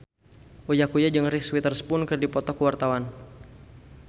Uya Kuya jeung Reese Witherspoon keur dipoto ku wartawan